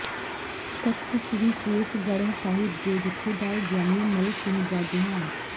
ਤਖ਼ਤ ਸ੍ਰੀ ਕੇਸਗੜ੍ਹ ਸਾਹਿਬ ਦੇ ਜਥੇਦਾਰ ਗਿਆਨੀ ਮੱਲ ਸਿੰਘ ਦਾ ਦੇਹਾਂਤ